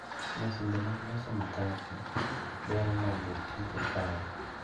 Masinde mag loso mkate dwaro mondo otigo kare